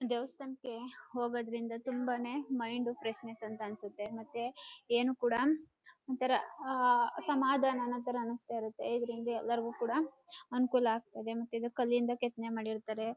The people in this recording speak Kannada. ದೇವಸ್ಥಾನಕ್ಕೆ ಹೋಗೋದ್ರಿಂದ ತುಂಬಾನೇ ಮೈಂಡ್ ಫ್ರೆಶ್ನೆಸ್ ಅಂತ ಅನ್ಸುತ್ತೆ ಮತ್ತೆ ಎನು ಕೂಡ ಒಂತರ ಸಮಾಧಾನ ಅನೋ ತರ ಅನಸ್ತಇರುತ್ತೆ. ಇದರಿಂದ ಎಲ್ಲರಗೂ ಕೂಡ ಅನುಕೂಲ ಆಗ್ತಾಯಿದೆ ಮತ್ತೆ ಇದು ಕಲ್ಲಿಂದ ಕೆತ್ತನೆ ಮಾಡಿರ್ತಾರೆ.